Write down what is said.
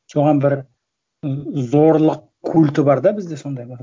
соған бір і зорлық культі бар да бізде сондай бір